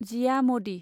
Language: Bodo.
जिया मडि